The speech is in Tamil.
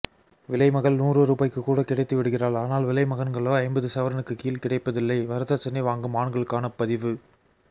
விலைமகள் நூறு ரூபாய்க்குக்கூட கிடைத்துவிடுகிறாள் ஆனால் விலைமகன்களோ ஐம்பது சவரனுக்குக்கீழ் கிடைப்பதில்லை வரதட்சணைவாங்கும்ஆண்களுக்கானபதிவு பபி